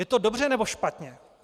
Je to dobře, nebo špatně?